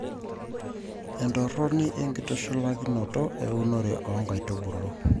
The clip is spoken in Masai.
entorroni enkitushulakinto eunore oo nkaitubulu.